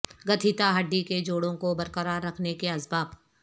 گتہیتا ہڈی کے جوڑوں کو برقرار رکھنے کے اسباب